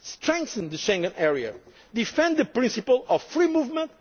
flows strengthen the Schengen area defend the principle of